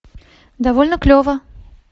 довольно клево